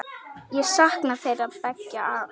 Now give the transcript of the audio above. Ég sakna þeirra beggja sárt.